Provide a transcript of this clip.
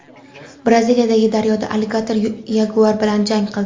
Braziliyadagi daryoda alligator yaguar bilan jang qildi.